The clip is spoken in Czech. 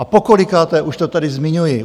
A pokolikáté už to tady zmiňuji!